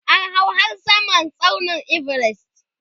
an hau har Samar tsaunin Everest